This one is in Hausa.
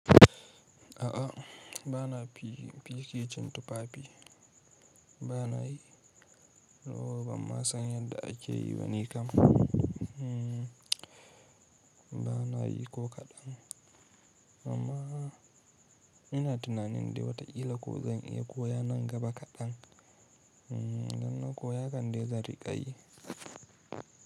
A'a bana fikicin tufafi. Bana yi, yoo bamma san yadda ake yi ba ni kam. Bana yi ko kaɗan, amma ina tunanin dai wataƙila ko zan iya koya nan gaba kaɗan. Idan na koya kan dai zan riƙa yi.